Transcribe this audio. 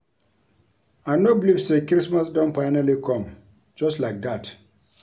I no believe say christmas don finally come just like dat